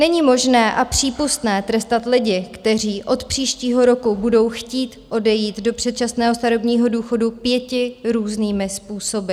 Není možné a přípustné trestat lidi, kteří od příštího roku budou chtít odejít do předčasného starobního důchodu, pěti různými způsoby.